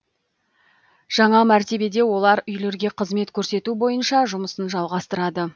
жаңа мәртебеде олар үйлерге қызмет көрсету бойынша жұмысын жалғастырады